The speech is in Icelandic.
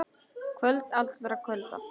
Kvöld allra kvölda.